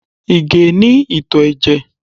Ìgè é ní ìtò ẹ̀jẹ̀